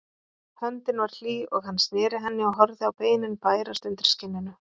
Höndin var hlý og hann sneri henni og horfði á beinin bærast undir skinninu.